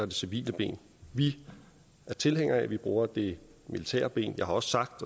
det civile ben vi er tilhængere af at vi bruger det militære ben jeg har også sagt